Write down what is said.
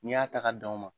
N'i y'a ta ka d'aw ma